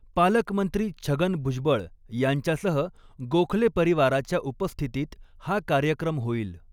पालकमंत्री छगन भुजबळ यांच्यासह गोखले परिवाराच्या उपस्थितीत हा कार्यक्रम होईल.